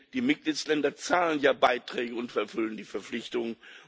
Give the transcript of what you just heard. Denn die Mitgliedsländer zahlen ja Beiträge und erfüllen die Verpflichtungen.